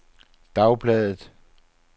dagbladet